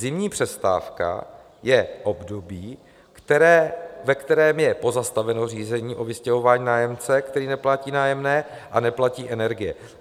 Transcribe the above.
Zimní přestávka je období, ve kterém je pozastaveno řízení o vystěhování nájemce, který neplatí nájemné a neplatí energie.